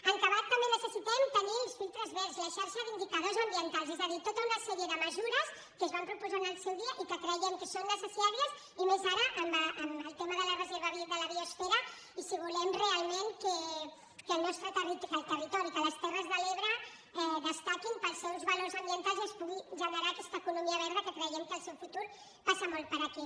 en acabat també necessitem tenir els filtres verds la xarxa d’indicadors ambientals és a dir tota una sèrie de mesures que es van proposar en el seu dia i que creiem que són necessàries i més ara en el tema de la reserva de la biosfera i si volem realment que el territori que les terres de l’ebre destaquin pels seus valors ambientals i es pugui generar aquesta economia verda que creiem que el seu futur passa molt per aquí